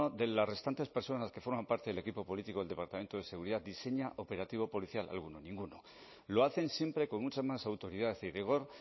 de las restantes personas que forman parte del equipo político del departamento de seguridad diseña operativo policial alguno ninguno lo hacen siempre con mucha más autoridad y rigor